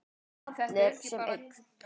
Þeir allir sem einn?